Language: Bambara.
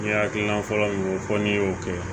N'i hakilina fɔlɔ min ye fɔ n'i y'o kɛ